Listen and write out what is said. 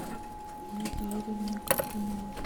ольге юрьевне горбуновой